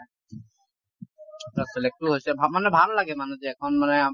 তাত select ও হৈছে ভা মানে ভাল লাগে মানুহ যে এখন মানে